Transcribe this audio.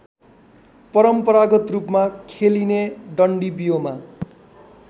परम्परागतरूपमा खेलिने डन्डीबियोमा